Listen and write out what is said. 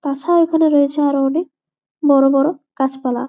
তাছাড়া এইখানে রয়েছে অনকে বড়ো বড়ো গাছ পালা।